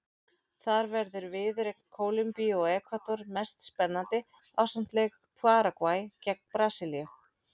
Þar verður viðureign Kólumbíu og Ekvador mest spennandi ásamt leik Paragvæ gegn Brasilíu.